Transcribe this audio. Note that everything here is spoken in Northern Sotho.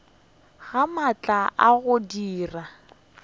ga maatla a go dira